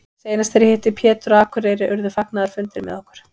Seinast þegar ég hitti Pétur á Akureyri urðu fagnaðarfundir með okkur.